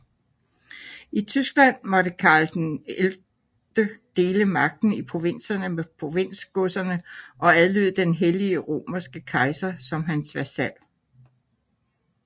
I Tyskland måtte Karl XI dele magten i provinserne med provinsgodserne og adlyde den hellige romerske kejser som hans vasal